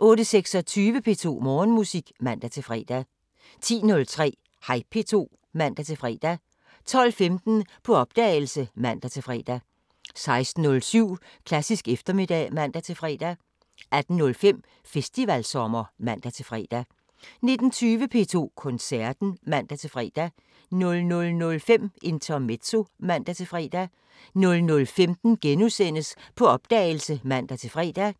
08:26: P2 Morgenmusik (man-fre) 10:03: Hej P2 (man-fre) 12:15: På opdagelse (man-fre) 16:07: Klassisk eftermiddag (man-fre) 18:05: Festivalsommer (man-fre) 19:20: P2 Koncerten (man-fre) 00:05: Intermezzo (man-fre) 00:15: På opdagelse *(man-fre)